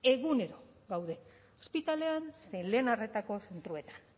egunero gaude ospitaletan zein lehen arretako zentroetan